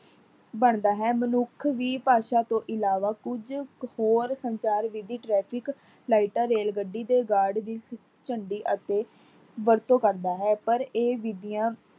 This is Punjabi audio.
ਬਣਦਾ ਹੈ, ਮਨੁੱਖ ਵੀ ਭਾਸ਼ਾ ਤੋਂ ਇਲਾਵਾ ਕੁਝ ਕ ਹੋਰ ਸੰਚਾਰ ਵਿਧੀ traffic ਲਾਇਟਾਂ, ਰੇਲਗੱਡੀ ਦੇ ਗਾਰਡ ਦੀ ਝੰਡੀ ਅਤੇ ਵਰਤੋਂ ਕਰਦਾ ਹੈ। ਪਰ ਇਹ ਬੀਬੀਆਂ